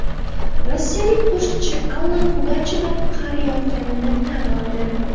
Rossiyalik qo‘shiqchi Alla Pugachyova qariyotganini tan oldi.